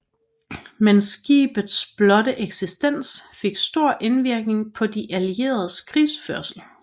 Men skibets blotte eksistens fik stor indvirkning på de allieredes krigsførelse